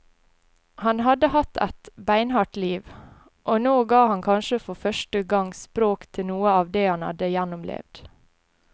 Han hadde hatt et beinhardt liv, og nå ga han kanskje for første gang språk til noe av det han hadde gjennomlevd.